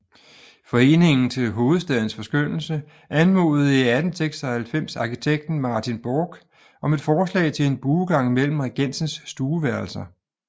Foreningen til Hovedstadens Forskønnelse anmodede i 1896 arkitekten Martin Borch om et forslag til en buegang gennem Regensens stueværelser